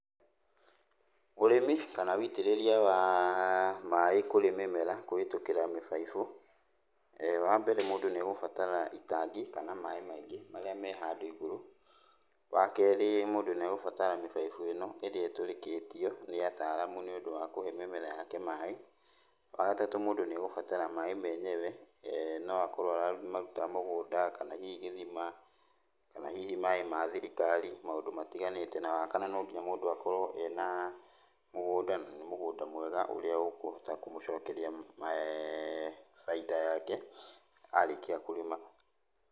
Ũrĩmi kana wĩitĩrĩria wa mĩ kũrĩ mĩmera kũhĩtũkĩra mĩbaibũ. Wambere mũndũ nĩegũbatara itangi kana maĩ maingĩ marĩa me handũ igũrũ. Wakerĩ mũndũ nĩegũbatara mĩbaibũ ĩno ĩrĩa ĩtũrĩkĩtio nĩ ataalamu nĩũndũ wa kũhe mĩmera yake maĩ. Wagatatũ mũndũ nĩegũbatara maĩ menyewe noakorwo aramaruta mũgũnda, kana hihi gĩthima, kana hihi maĩ ma thirikari, maũndũ matiganĩte. Na wakana no nginya mũndũ akorwo ena mũgũnda, na nĩ mũgũnda mwega ũrĩa ũkũhota kũmũcokeria bainda yake, arĩkia kũrĩma.